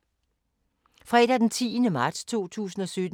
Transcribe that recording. Fredag d. 10. marts 2017